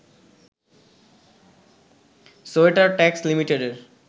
sweater tax লিমিটেডের